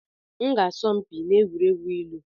M ga-asọ mpi n'egwuregwu ilu.